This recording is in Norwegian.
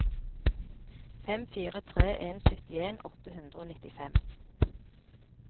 fem fire tre en syttien åtte hundre og nittifem